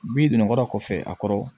Bi donnabɔ kɔfɛ a kɔrɔ